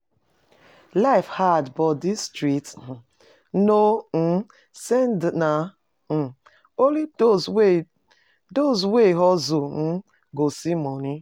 Life hard but di street no um send na um only those wey those wey hustle um go see money